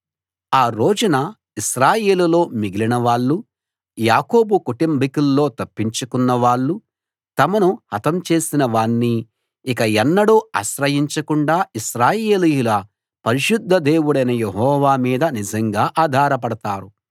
ఆ రోజున ఇశ్రాయేలులో మిగిలినవాళ్ళు యాకోబు కుటుంబీకుల్లో తప్పించుకున్నవాళ్ళు తమను హతం చేసిన వాణ్ణి ఇక ఎన్నడూ ఆశ్రయించకుండా ఇశ్రాయేలీయుల పరిశుద్ధ దేవుడైన యెహోవా మీద నిజంగా ఆధారపడతారు